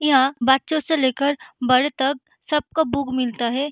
यहाँ बच्चों से ले कर बड़े तक सब का बुक मिलता है।